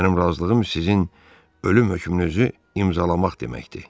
Mənim razılığım sizin ölüm hökmünüzü imzalamaq deməkdir.